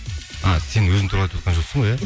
а сен өзің туралы айтып отқан жоқсың ғой иә